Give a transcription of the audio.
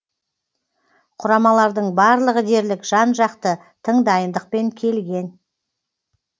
құрамалардың барлығы дерлік жан жақты тың дайындықпен келген